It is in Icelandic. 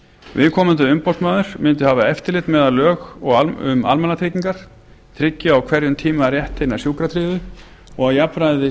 viðkomandi umboðsmaður mundi hafa eftirlit með að lög um almannatryggingar tryggi á hverjum tíma rétt hinna sjúkratryggðu og jafnræði sé